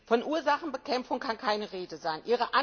Von Ursachenbekämpfung kann keine Rede sein.